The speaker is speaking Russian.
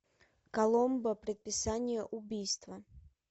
коломбо предписание убийства